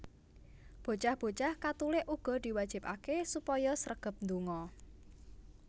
Bocah bocah Katulik uga diwajibaké supaya sregep ndonga